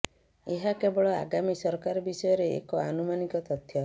ଏହା କେବଳ ଆଗାମୀ ସରକାର ବିଷୟରେ ଏକ ଅନୁମାନିକ ତଥ୍ୟ